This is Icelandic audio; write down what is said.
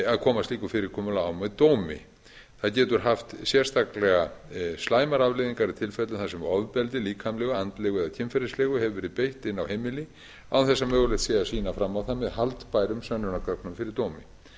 að koma slíku fyrirkomulagi á með dómi það getur haft sérstaklega slæmar afleiðingar í tilfellum þar sem ofbeldi líkamlegu andlegu eða kynferðislegu hefur verið beitt inni á heimili án þess að mögulegt sé að sýna fram á það með haldbærum sönnunargögnum fyrir dómi